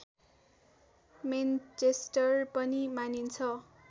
Manchester पनि मानिन्छ